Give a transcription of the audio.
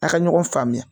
A ka ɲɔgɔn faamuya